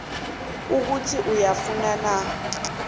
ukuthi uyafuna na